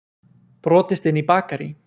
Brotist inn í bakarí